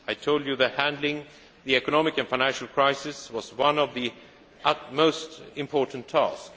I told you that handling the economic and financial crisis was one of our most important tasks.